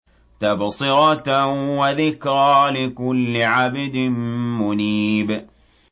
تَبْصِرَةً وَذِكْرَىٰ لِكُلِّ عَبْدٍ مُّنِيبٍ